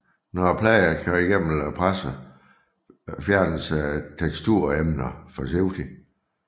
Når pladen er kørt gennem pressen fjernes teksturemnerne forsigtigt